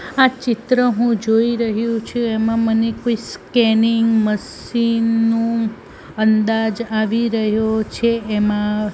આ ચિત્ર હું જોઈ રહ્યુ છે એમાં મને કોઈ સ્કેનિંગ મશીન નુ અંદાજ આવી રહ્યો છે એમાં--